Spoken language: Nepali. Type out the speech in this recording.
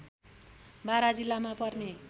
बारा जिल्लामा पर्ने